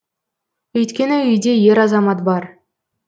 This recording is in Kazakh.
өйткені үйде ер азамат бар